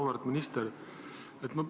Auväärt minister!